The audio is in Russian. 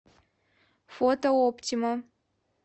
фото оптима